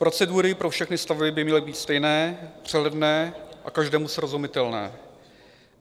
Procedury pro všechny stavby by měly být stejné, přehledné a každému srozumitelné.